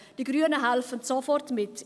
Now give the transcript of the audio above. Die Grünen helfen sofort mit.